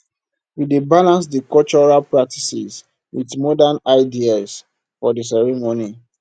we dey balance di cultural practices with modern ideas for di ceremony